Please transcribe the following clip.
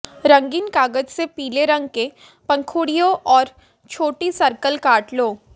रंगीन कागज से पीले रंग के पंखुड़ियों और छोटी सर्कल काट लें